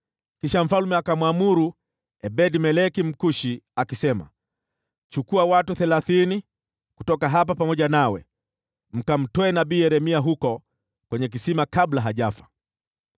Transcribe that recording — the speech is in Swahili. Basi mfalme akamwamuru Ebed-Meleki Mkushi, akisema, “Chukua watu thelathini kutoka hapa pamoja nawe, mkamtoe nabii Yeremia huko kwenye kisima kabla hajafa.”